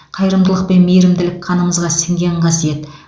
қайырымдылық пен мейірімділік қанымызға сіңген қасиет